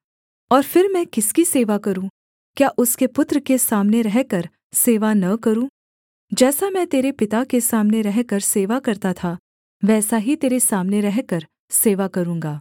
और फिर मैं किसकी सेवा करूँ क्या उसके पुत्र के सामने रहकर सेवा न करूँ जैसा मैं तेरे पिता के सामने रहकर सेवा करता था वैसा ही तेरे सामने रहकर सेवा करूँगा